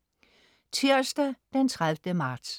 Tirsdag den 30. marts